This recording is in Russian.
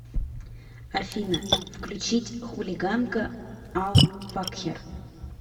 афина включить хулиганка ал факхер